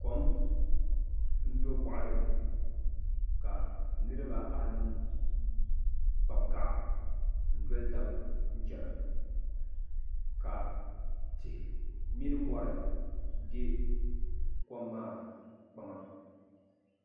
Kom n do boɣalini ka niriba anu kpabi gaɣa n doli taba n chena ka tihi mini mori be kom maa kpaŋa